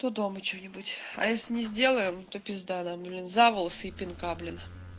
то дома что-нибудь а если не сделаю то пизда нам блин за волосы и пинка блин